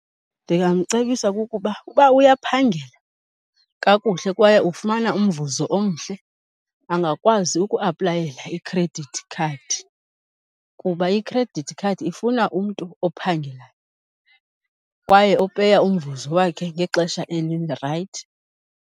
Ndingamcebisa kukuba uba uyaphangela kakuhle kwaye ufumana umvuzo omhle, angakwazi ukuaplayela ikhredithi khadi. Kuba ikhredithi khadi ifuna umntu ophangelayo kwaye opeya umvuzo wakhe ngexesha elirayithi.